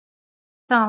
Sjáumst þá!